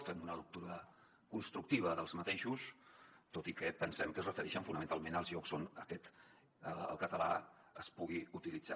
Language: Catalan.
fem una lectura constructiva d’aquests tot i que pensem que es refereixen fonamentalment als llocs on el català es pugui utilitzar